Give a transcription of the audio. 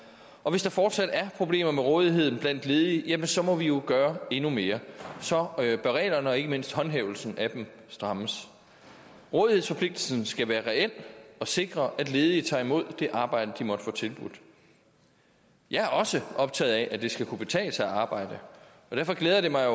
og hvis der fortsat er problemer med rådigheden blandt ledige jamen så må vi jo gøre endnu mere og så bør reglerne og ikke mindst håndhævelsen af dem strammes rådighedsforpligtelsen skal sikre at ledige tager imod det arbejde de måtte få tilbudt jeg er også optaget af at det skal kunne betale sig at arbejde og derfor glæder det mig